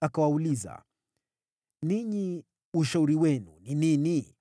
Akawauliza, “Ninyi ushauri wenu ni nini?